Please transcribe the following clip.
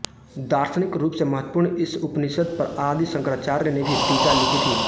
दार्शनिक रूप से महत्वपूर्ण इस उपनिषद पर आदि शंकराचार्य ने भी टीका लिखी थी